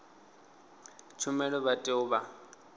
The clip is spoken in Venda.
tshumelo vha tea u vha